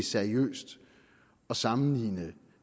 seriøst at sammenligne